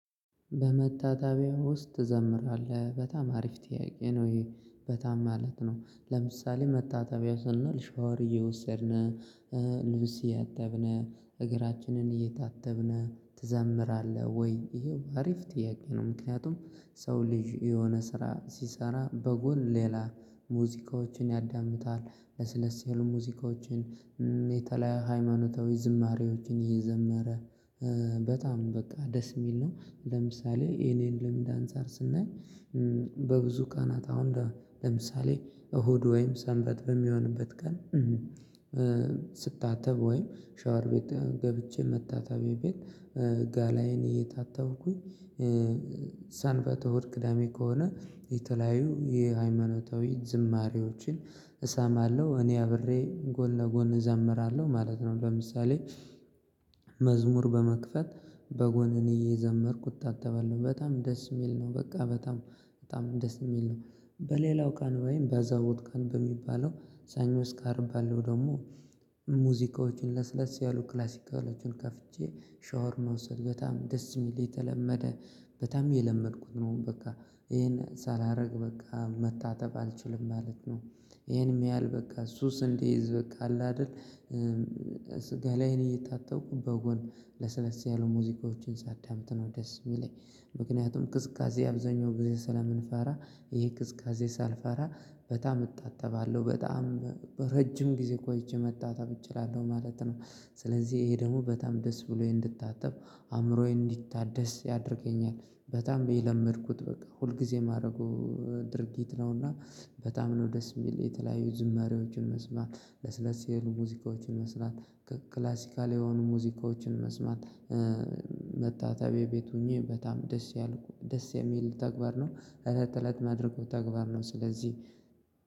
በመታጠቢያ ውስጥ ትዘምራለህ በጣም አሪፍ ጥያቄ ነው ይሄ በጣም ማለት ነው ለምሳሌ መታጠቢያ ስንል ሻወር እየወሰድን ልብስ እየጠብን እግራችንን እየታጠብን ትዘምራለህ ወይ ይሄው አሪፍ ጥያቄ ነው? ምክንያቱም ሰው ልጅ የሆነ ስራ ሲሰራ በጎን ሌላ ሙዚቃዎችን ያዳምጣል ለስለስ ያሉ ሙዚቃዎችን የተለያየ ሃይማኖታዊ ዝማሬዎችን ይዘመረ በጣም በቃ ደስ የሚል ነው። ለምሳሌ የኔን ልምድ አንፃር ስናይ በብዙ ቀናት አሁን ለምሳሌ እሁድ ወይም ሰንበት በሚሆንበት ቀን ስታጠብ ወይም ሻወር ቤት ገብቼ መታጠቢያ ቤት ገላዬን እየታጠብኩኝ ሰንበት እሁድ ቅዳሜ ከሆነ የተለያዩ የሃይማኖታዊ ዝማሬዎችን እሰማለሁ እኔ አብሬ ጎን ለጎን እዘምራለሁ ማለት ነው። ለምሳሌ መዝሙር በመክፈት በጎን እኔ እየዘመርኩ እታጠባለው በጣም ደስ የሚል ነው በቃ በጣም በጣም ደስ የሚል ነው። በሌላው ቃን ወይም በአዘቦት ቀን በሚባለው ሰኞ እስከ አርብ ባለው ደግሞ ሙዚቃዎችን ለስለስ ያሉ ክላሲካሎችን ከፍቼ ሻወር መውሰድ በጣም ደስ የሚል የተለመደ በጣም የለመድኩት ነው በቃ ይሄን ሳላረግ በቃ መታጠብ አልችልም ማለት ነው። ይሄንም ያህል በቃ ሱስ እንዲይዝ በቃ አለ አይደል? ገላዬን እየታጠብኩ በጎን ለሰለስ ያሉ ሙዚቃዎችን ሳዳምጥ ነው ደስ የሚለኝ ምክንያቱም ቅዝቃዜ አብዛኛው ጊዜ ስለምንፈራ ይሄ ቅዝቃዜ ሳልፈራ በጣም እታጠባለሁ በጣም ረጅም ጊዜ ቆይቼ መታጠብ እችላለሁ ማለት ነው። ስለዚህ ይሄ ደግሞ በጣም ደስ ብሎኝ እንድታጠብ አእምሮዬ እንዲታደስ ያደርገኛል በጣም የለመድኩት በቃ ሁል ጊዜ የማደርገው ድርጊት ነውና በጣም ነው ደስ የሚል የተለያዩ ዝማሬዎችን መስማት ለስለስ የሆኑ ሙዚቃዎችን መስማት ከክላሲካል የሆኑ ሙዚቃዎችን መስማት መታጠቢያ ቤት ሆኜ በጣም ደስ ያልኩ ደስ የሚል ተግባር ነው። እለት እለት ማድረገው ተግባር ነው ስለዚህ